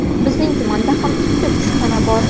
Bizning tumanda ham ikkita kushxona bor.